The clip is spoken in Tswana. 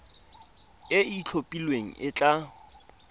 e e itlhophileng e tla